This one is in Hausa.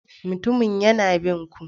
Mutumin yana bin ku.